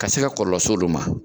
Ka se ka kɔlɔlɔ se olu ma.